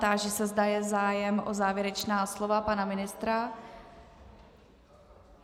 Táži se, zda je zájem o závěrečná slova - pana ministra?